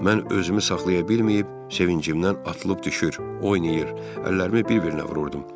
Mən özümü saxlaya bilməyib sevincimdən atılıb düşür, oynayır, əllərimi bir-birinə vururdum.